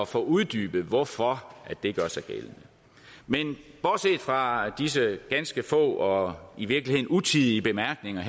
få uddybet hvorfor det gør sig gældende men bortset fra disse ganske få og i virkeligheden utidige bemærkninger